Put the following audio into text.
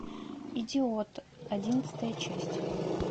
идиот одиннадцатая часть